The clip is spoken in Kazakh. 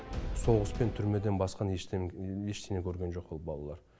соғыс пен түрмеден басқаны ештеңе көрген жоқ ол балалар